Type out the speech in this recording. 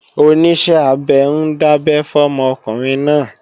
Oníṣẹ́-abẹ ń dábẹ́ fọ́mọ ọkùnrin náà